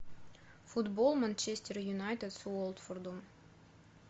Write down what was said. футбол манчестер юнайтед с уотфордом